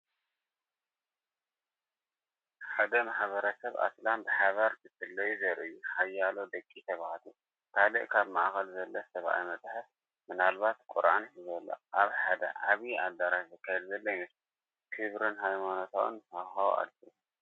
ሓደ ማሕበረሰብ ኣስላም ብሓባር ክጽልዩ ዘርኢ እዩ። ሓያሎ ደቂ ተባዕትዮ፡ ካልእ ኣብ ማእከል ዘሎ ሰብኣይ መጽሓፍ (ምናልባት ቁርኣን) ሒዙ ኣሎ። ኣብ ሓደ ዓቢ ኣዳራሽ ዝካየድ ዘሎ ይመስል። ክቡርን ሃይማኖታዊን ሃዋህው ኣለዎ።